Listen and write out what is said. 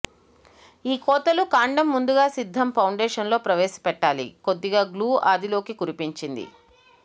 ఈ కోతలు కాండం ముందుగా సిద్ధం ఫౌండేషన్లో ప్రవేశ పెట్టాలి కొద్దిగా గ్లూ అది లోకి కురిపించింది